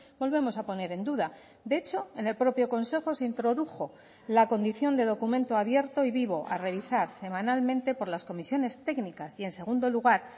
volvemos a poner en duda de hecho en el propio consejo se introdujo la condición de documento abierto y vivo a revisar semanalmente por las comisiones técnicas y en segundo lugar